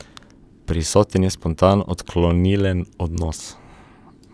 Prisoten je spontan odklonilen odnos.